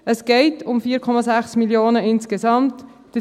Es geht um insgesamt 4,6 Mio. Franken.